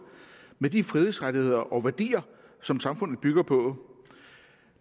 med de frihedsrettigheder og værdier som samfundet bygger på